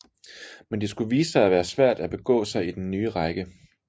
Men det skulle vise sig at være svært at begå sig i den nye række